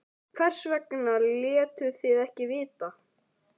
Hvers vegna létuð þið ekki vita?